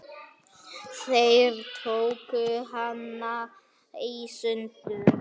Þeir tóku hana í sundur.